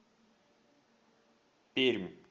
пермь